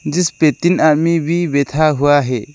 जिसपे तीन आदमी भी बेथा हुआ है।